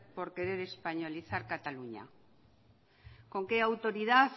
por querer españolizar cataluña con qué autoridad